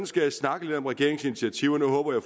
skal snakke lidt om regeringens initiativer og nu håber jeg